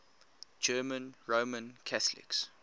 german roman catholics